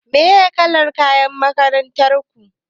Me kalar kayan makarantar ku?